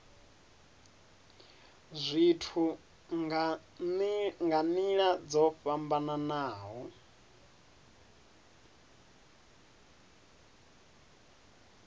zwithu nga nila dzo fhambanaho